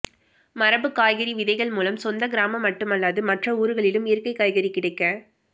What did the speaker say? மரபு காய்கறி விதைகள் மூலம் சொந்த கிராமம் மட்டுமல்லாது மற்ற ஊர்களிலும் இயற்கை காய்கறி கிடைக்க